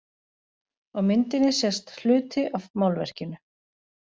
Á myndinni sést hluti af málverkinu.